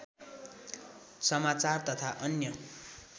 समाचार तथा अन्य